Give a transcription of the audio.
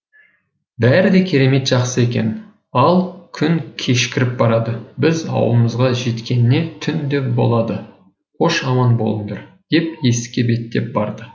бәрі де керемет жақсы екен ал күн кешкіріп барады біз ауылымызға жеткеніне түн де болады қош аман болыңдар деп есікке беттеп барды